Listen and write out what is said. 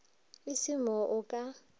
e se mo a ka